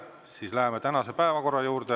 Siis läheme tänase päevakorra juurde.